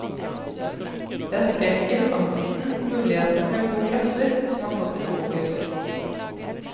Det er skrekken, angsten, mulighetene for en god grøsser, som har stått i fokus.